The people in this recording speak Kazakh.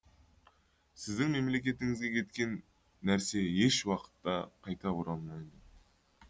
сіздің мемлекетіңізге кеткен нәрсе еш уақытта қайта оралмайды